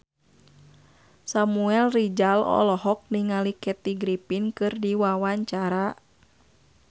Samuel Rizal olohok ningali Kathy Griffin keur diwawancara